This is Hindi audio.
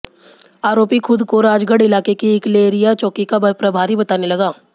आरोपी खुद को राजगढ़ इलाके की इकलेरिया चौकी का प्रभारी बताने लगा